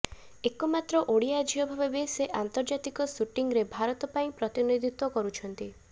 ଏକମାତ୍ର ଓଡ଼ିଆ ଝିଅ ଭାବେ ସେ ଅନ୍ତର୍ଜାତୀୟ ଶୁଟିଂରେ ଭାରତ ପାଇ ପ୍ରତିନିଧିତ୍ୱ କରୁଛନ୍ତି